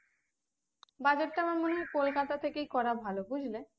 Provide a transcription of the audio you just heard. বাজারটা আমার মনে হয় কলকাতাতে থেকে করা ভালো বুঝলে